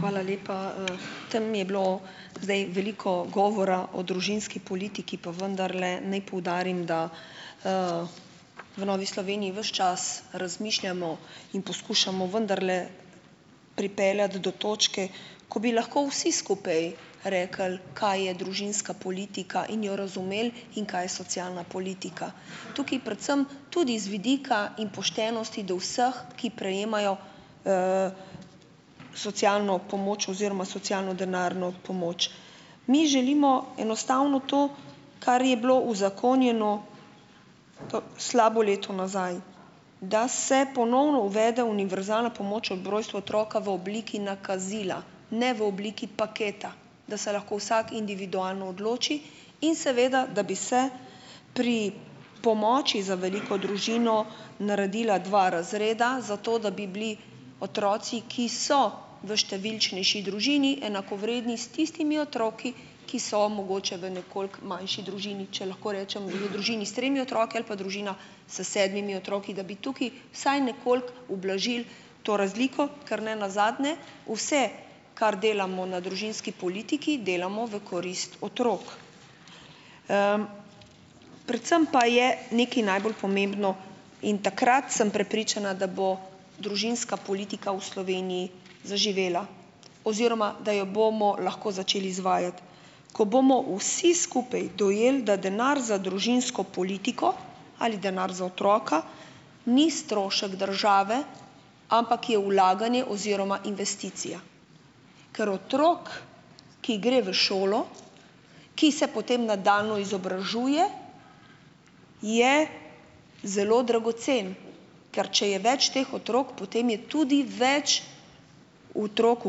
Hvala lepa. Tam je bilo zdaj veliko govora o družinski politiki, pa vendarle naj poudarim, da v Novi Sloveniji ves čas razmišljamo in poskušamo vendarle pripeljati do točke, ko bi lahko vsi skupaj rekli, kaj je družinska politika, in jo razumeli, in kaj je socialna politika. Tukaj predvsem tudi iz vidika in poštenosti do vseh, ki prejemajo socialno pomoč oziroma socialno denarno pomoč. Mi želimo enostavno to, kar je bilo uzakonjeno slabo leto nazaj, da se ponovno uvede univerzalna pomoč ob rojstvu otroka v obliki nakazila, ne v obliki paketa, da se lahko vsak individualno odloči, in seveda da bi se pri pomoči za veliko družino naredila dva razreda zato, da bi bili otroci, ki so v številčnejši družini enakovredni s tistimi otroki, ki so mogoče v nekoliko manjši družini, če lahko rečem, v družini s tremi otroki ali pa družina s sedmimi otroki, da bi tukaj vsaj nekoliko ublažili to razliko, ker ne nazadnje vse, kar delamo na družinski politiki, delamo v korist otrok. Predvsem pa je nekaj najbolj pomembno in takrat sem prepričana, da bo družinska politika v Sloveniji zaživela oziroma da jo bomo lahko začeli izvajati, ko bomo vsi skupaj dojeli, da denar za družinsko politiko ali denar za otroka ni strošek države, ampak je vlaganje oziroma investicija, ker otrok, ki gre v šolo, ki se potem nadaljnje izobražuje, je zelo dragocen, ker če je več teh otrok, potem je tudi več otrok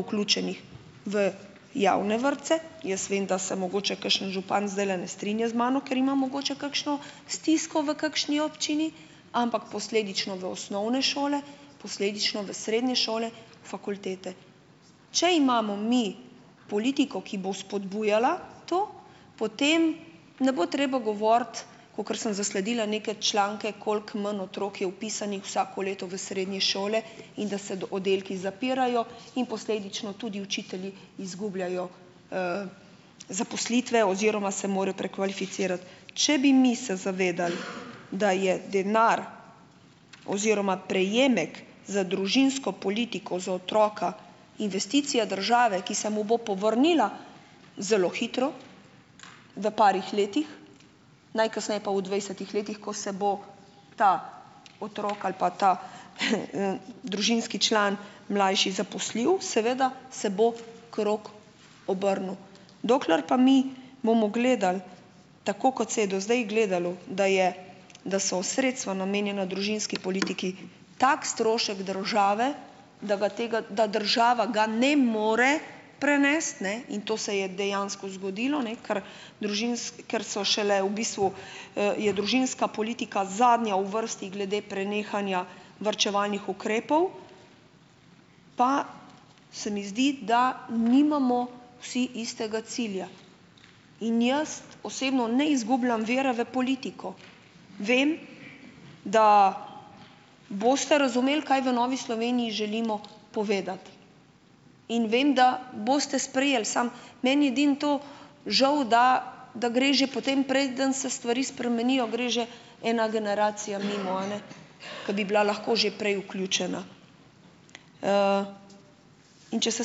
vključenih v javne vrtce, jaz vem, da se mogoče kakšen župan zdajle ne strinja z mano, ker ima mogoče kakšno stisko v kakšni občini, ampak posledično v osnovne šole, posledično v srednje šole, fakultete. Če imamo mi politiko, ki bo spodbujala to, potem ne bo treba govoriti, kakor sem zasledila neke članke, koliko manj otrok je vpisanih vsako leto v srednje šole in da se oddelki zapirajo in posledično tudi učitelji izgubljajo zaposlitve oziroma se morajo prekvalificirati. Če bi mi se zavedali, da je denar oziroma prejemek za družinsko politiko za otroka investicija države, ki se mu bo povrnila zelo hitro, v parih letih, najkasneje pa v dvajsetih letih, ko se bo ta otrok ali pa ta, družinski član mlajši zaposlil, seveda se bo krog obrnil. Dokler pa mi bomo gledali, tako kot se je do zdaj gledalo, da je da so sredstva, namenjena družinski politiki, tak strošek države, da ga, tega da država ga ne more prenesti, ne, in to se je dejansko zgodilo, ne, kar ker so šele v bistvu, je družinska politika zadnja v vrsti glede prenehanja varčevalnih ukrepov, pa se mi zdi, da nimamo vsi istega cilja in jaz osebno ne izgubljam vere v politiko, vem, da boste razumeli, kaj v Novi Sloveniji želimo povedati. In vem, da boste sprejeli, samo meni je edino to žal, da da gre že potem, priden se stvari spremenijo, gre že ena generacija mimo, a ne, ko bi bila lahko že prej vključena. In če se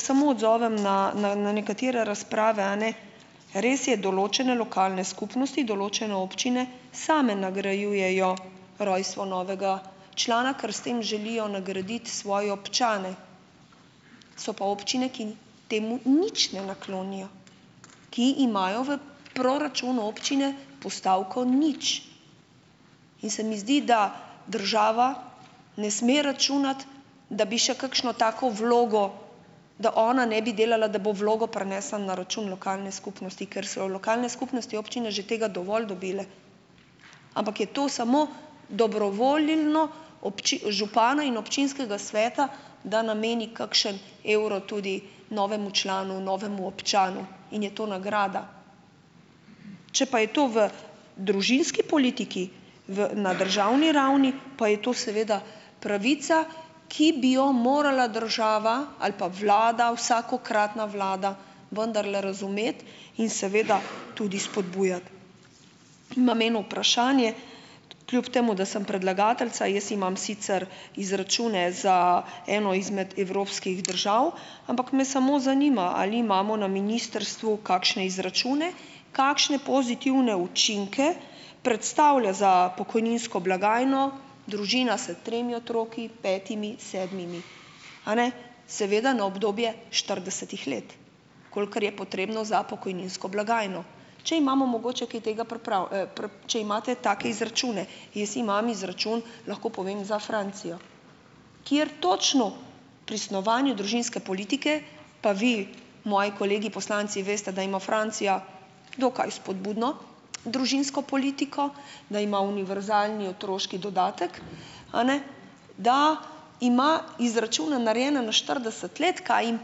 samo odzovem na na nekatere razprave, a ne. Res je, določene lokalne skupnosti, določene občine same nagrajujejo rojstvo novega člana, ker s tem želijo nagraditi svoje občane, so pa občine, ki temu nič ne naklonijo, ki imajo v proračunu občine postavko nič. In se mi zdi, da država ne sme računati, da bi še kakšno tako vlogo, da ona ne bi delala, da bo vlogo prinesla na račun lokalne skupnosti, ker so jo lokalne skupnosti občine že tega dovolj dobile, ampak je to samo dobrovoljno župana in občinskega sveta, da nameni kakšno evro tudi novemu članu, novemu občanu, in je to nagrada. Če pa je to v družinski politiki v na državni ravni, pa je to seveda pravica, ki bi jo morala država ali pa vlada, vsakokratna vlada vendarle razumeti in seveda tudi spodbujati. Imam eno vprašanje kljub temu, da sem predlagateljica. Jaz imam sicer izračune za eno izmed evropskih držav, ampak me samo zanima, ali imamo na ministrstvu kakšne izračune, kakšne pozitivne učinke predstavlja za pokojninsko blagajno družina s tremi otroki, petimi, sedmimi a ne, seveda na obdobje štiridesetih let, kolikor je potrebno za pokojninsko blagajno, če imamo mogoče kaj tega če imate take izračune. Jaz imam izračun, lahko povem, za Francijo, kjer točno pri snovanju družinske politike, pa vi, moji kolegi poslanci veste, da ima Francija dokaj spodbudno družinsko politiko, da ima univerzalni otroški dodatek, a ne, da ima izračune narejene na štirideset let, kaj jim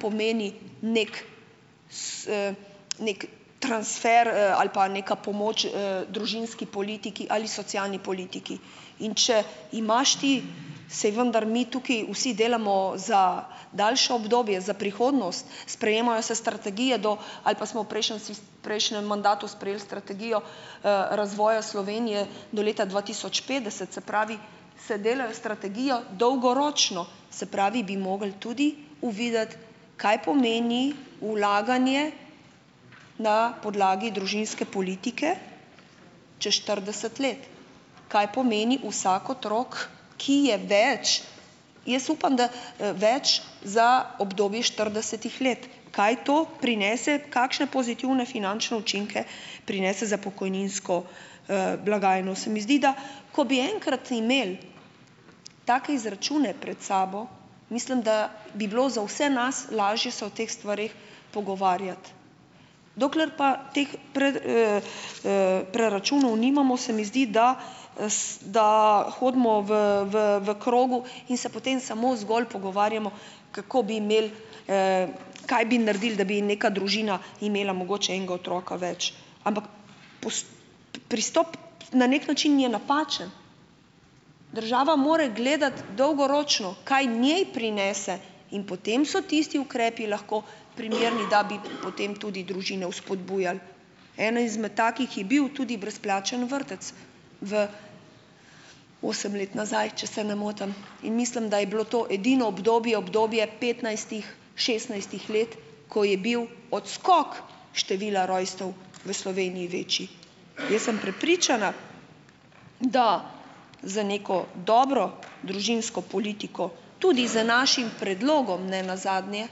pomeni nekaj neki transfer, ali pa neka pomoč, družinski politiki ali socialni politiki. In če imaš ti, saj vendar mi tukaj vsi delamo za daljše obdobje, za prihodnost, sprejemajo se strategije do ali pa smo v prejšnjem prejšnjem mandatu sprejeli strategijo, razvoja Slovenije do leta dva tisoč petdeset, se pravi, se delajo strategijo dolgoročno, se pravi, bi mogli tudi uvideti, kaj pomeni vlaganje na podlagi družinske politike čez štirideset let, kaj pomeni vsak otrok, ki je več, jaz upam da, več za obdobje štiridesetih let, kaj to prinese, kakšne pozitivne finančne učinke prinese za pokojninsko, blagajno. Se mi zdi, da ko bi enkrat imeli take izračune pred sabo, mislim, da bi bilo za vse nas lažje se o teh stvareh pogovarjati. Dokler pa teh preračunov nimamo, se mi zdi, da, da hodimo v, v, v krogu in se potem samo zgolj pogovarjamo, kako bi imeli, kaj bi naredili, da bi neka družina imela mogoče enega otroka več. Ampak pristop na neki način je napačen. Država mora gledati dolgoročno, kaj njej prinese. In potem so tisti ukrepi lahko primerni, da bi potem tudi družine vzpodbujali. Eno izmed takih je bil tudi brezplačen vrtec v osem let nazaj, če se ne motim. In mislim, da je bilo to edino obdobje, obdobje petnajstih, šestnajstih let, ko je bil odskok števila rojstev v Sloveniji večji. Jaz sem prepričana, da z neko dobro družinsko politiko, tudi z našim predlogom ne nazadnje,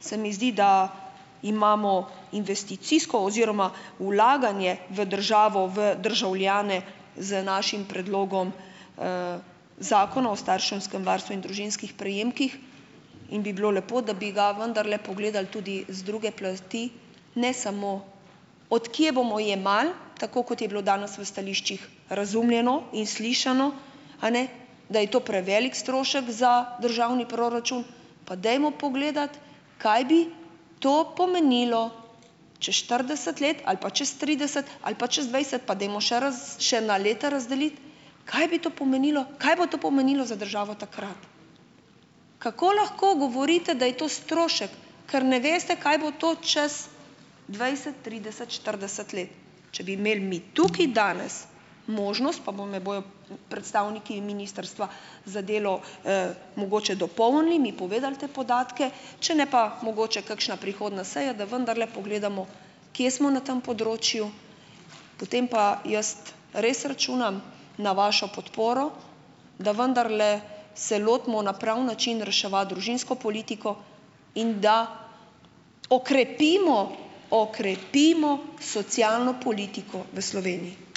se mi zdi, da imamo investicijsko oziroma vlaganje v državo, v državljane z našim predlogom, Zakona o starševskem varstvu in družinskih prejemkih in bi bilo lepo, da bi ga vendarle pogledali tudi z druge plasti, ne samo, od kje bomo jemali, tako kot je bilo danes v stališčih razumljeno in slišano, a ne, da je to prevelik strošek za državni proračun. Pa dajmo pogledati, kaj bi to pomenilo čez štirideset let ali pa čas trideset ali pa čez dvajset, pa dajmo še še na leta razdeliti, kaj bi to pomenilo, kaj bo to pomenilo za državo takrat. Kako lahko govorite, da je to strošek, ker ne veste, kaj bo to čez dvajset, trideset, štirideset let? Če bi imeli mi tukaj danes možnost, pa vam jo bojo, predstavniki ministrstva za delo, mogoče dopolnili, mi povedali te podatke, če ne pa mogoče kakšna prihodnja seja, da vendarle pogledamo, kje smo na tem področju, potem pa jaz res računam na vašo podporo, da vendarle se lotimo na pravi način reševati družinsko politiko in da okrepimo, okrepimo socialno politiko v Sloveniji.